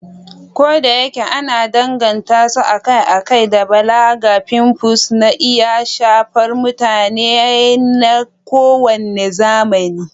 Kodayake ana danganta su akai-akai da balaga, pimples na iya shafar mutane na kowane zamani.